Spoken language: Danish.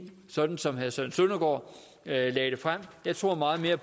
sådan som herre søren søndergaard lagde det frem jeg tror meget mere